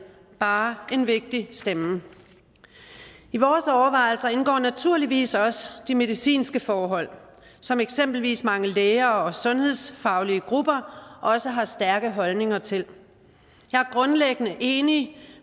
bare er en vigtig stemme i vores overvejelser indgår naturligvis også de medicinske forhold som eksempelvis mange læger og sundhedsfaglige grupper også har stærke holdninger til jeg er grundlæggende enig